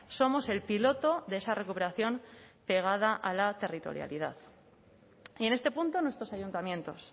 somos el piloto de esa recuperación pegada a la territorialidad y en este punto nuestros ayuntamientos